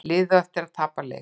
Liðið á eftir að tapa leik